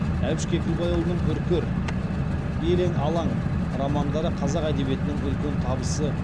әбіш кекілбайұлының үркер елең алаң романдары қазақ әдебиетінің үлкен табысы